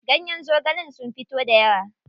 Ganyen zogalen sun fito dayawa.